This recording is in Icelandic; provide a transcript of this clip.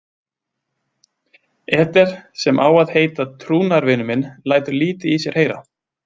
Eder, sem á að heita trúnaðarvinur minn, lætur lítið í sér heyra.